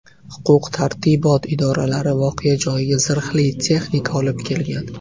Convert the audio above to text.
Huquq tartibot idoralari voqea joyiga zirhli texnika olib kelgan.